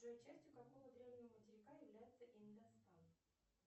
джой частью какого древнего материка является индостан